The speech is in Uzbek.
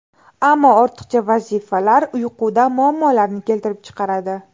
Ammo ortiqcha vazifalar uyquda muammolarni keltirib chiqaradi.